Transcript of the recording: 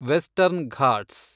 western Ghats